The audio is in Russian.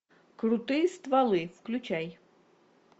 крутые стволы включай